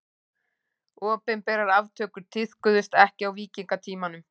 Opinberar aftökur tíðkuðust ekki á víkingatímanum.